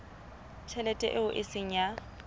tjhelete eo e seng ya